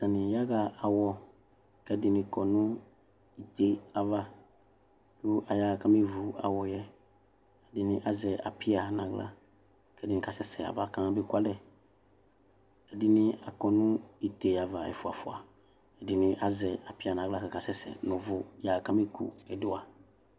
Atani yaxa awɔ kʋ ɛdini kɔnʋ ite ayʋ ava kʋ ayaxa kʋ amevʋ awɔyɛ ɛdini azɛ alpia nʋ aɣla kʋ ɛdini kasɛsɛ yaba kamabe kʋ alɛ ɛdini akɔ nʋ ite ava efʋa ɛfʋa ɛdini azɛ apia nʋ aɣla kakasɛsɛ nʋ ʋvʋ yaxa kamekʋ ɛdiwa